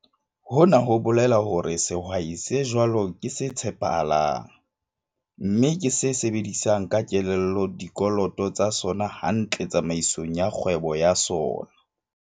Hona ho bolela hore sehwai se jwalo ke se tshepahalang, mme ke se sebedisang ka kelello dikoloto tsa sona hantle tsamaisong ya kgwebo ya sona.